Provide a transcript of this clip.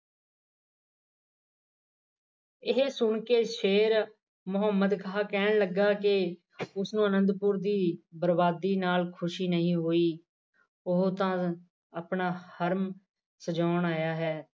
ਇਹ ਸੁਣ ਕੇ ਸ਼ੇਰ ਮੁਹਮੰਦ ਖਾਂ ਕਹਿਣ ਲੱਗਾ ਕਿ ਉਸ ਨੂੰ ਅਨੰਦਪੁਰ ਦੀ ਬਰਬਾਦੀ ਨਾਲ ਖੁਸ਼ੀ ਨਹੀ ਹੋਈ ਉਹ ਤਾਂ ਆਪਣਾ ਹਰਮ ਸਜੋਉਣ ਆਇਆ ਹੈ।